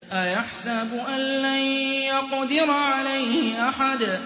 أَيَحْسَبُ أَن لَّن يَقْدِرَ عَلَيْهِ أَحَدٌ